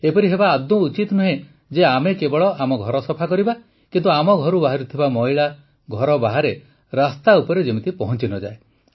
ଏପରି ହେବା ଆଦୌ ଉଚିତ ନୁହେଁ ଯେ ଆମେ କେବଳ ଆମ ଘର ସଫା କରିବା କିନ୍ତୁ ଆମ ଘରୁ ବାହାରୁଥିବା ମଇଳା ଘର ବାହାରେ ରାସ୍ତା ଉପରେ ଯେମିତି ପହଂଚି ନ ଯାଏ